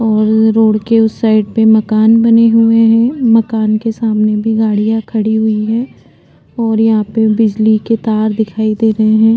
और रोड के उस साइड भी मकान बने हुए हैं मकान के सामने भी गाड़ियाँ खड़ी हुई हैं और यहाँ पे बिजली के तार भी दिखाई दे रहे हैं।